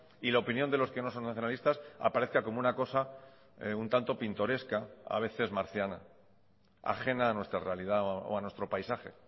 y la opinión de los que no son nacionalistas aparezca como una cosa un tanto pintoresca a veces marciana ajena a nuestra realidad o a nuestro paisaje